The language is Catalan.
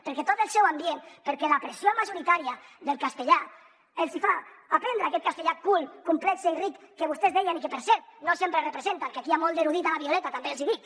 perquè tot el seu ambient perquè la pressió majoritària del castellà els hi fa aprendre aquest castellà cool complex i ric que vostès deien i que per cert no sempre representen que aquí hi ha molt d’ erudit a la violeta també els hi dic